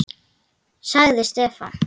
sagði Stefán.